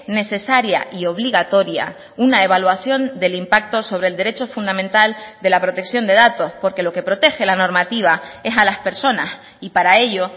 necesaria y obligatoria una evaluación del impacto sobre el derecho fundamental de la protección de datos porque lo que protege la normativa es a las personas y para ello